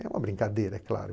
É uma brincadeira, é claro.